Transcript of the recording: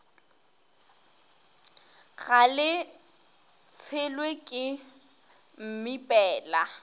ga le tshelwe ke mmipela